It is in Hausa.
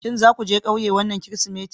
Shin za ku je ƙauye wannan Kirsimeti?